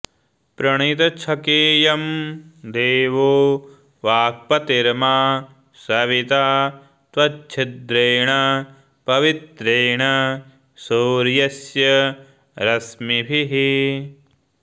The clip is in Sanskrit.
प्रणितच्छकेयं देवो वाक्पतिर्मा सविता त्वच्छिद्रेण पवित्रेण सूर्यस्य रश्मिभिः